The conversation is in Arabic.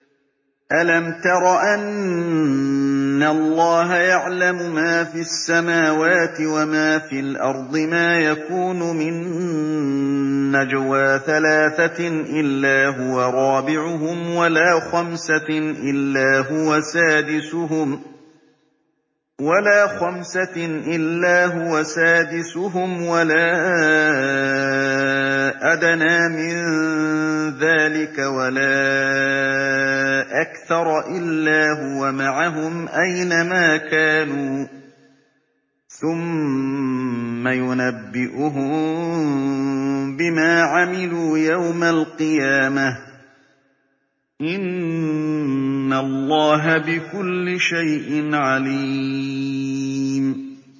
أَلَمْ تَرَ أَنَّ اللَّهَ يَعْلَمُ مَا فِي السَّمَاوَاتِ وَمَا فِي الْأَرْضِ ۖ مَا يَكُونُ مِن نَّجْوَىٰ ثَلَاثَةٍ إِلَّا هُوَ رَابِعُهُمْ وَلَا خَمْسَةٍ إِلَّا هُوَ سَادِسُهُمْ وَلَا أَدْنَىٰ مِن ذَٰلِكَ وَلَا أَكْثَرَ إِلَّا هُوَ مَعَهُمْ أَيْنَ مَا كَانُوا ۖ ثُمَّ يُنَبِّئُهُم بِمَا عَمِلُوا يَوْمَ الْقِيَامَةِ ۚ إِنَّ اللَّهَ بِكُلِّ شَيْءٍ عَلِيمٌ